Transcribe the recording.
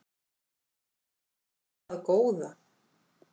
Það góða